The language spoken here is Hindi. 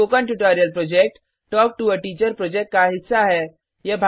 spoken tutorial project talk to a teacher project का हिस्सा है